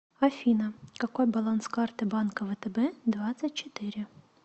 афина какой баланс карты банка втб двадцать четыре